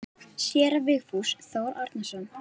Séra Vigfús Þór Árnason þjónar.